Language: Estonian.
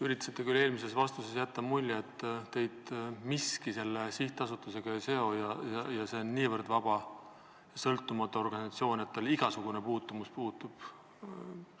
Üritasite küll eelmises vastuses jätta muljet, et teid miski selle sihtasutusega ei seo, et see on niivõrd vaba ja sõltumatu organisatsioon, et teil igasugune puutumus puudub.